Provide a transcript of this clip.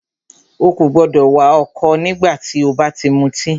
Ó kò gbọdọ̀ wà ọ̀kọ̀ nígbà tí o bá ti mutí!